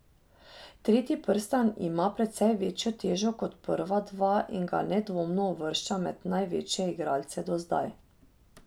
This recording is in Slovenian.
Tretji prstan ima precej večjo težo kot prva dva in ga nedvomno uvršča med največje igralce do zdaj.